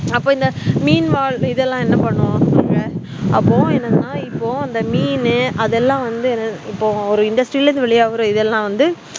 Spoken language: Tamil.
அப்பா இந்த மீன் வாழ்உயிரினகள் எல்லாம் என்ன பண்ணும் அப்போ இப்போ வந்து மீனு அத்தளம் வந்து இப்போ industry ல இருந்து வெளிஆகுற இதலாம் வந்து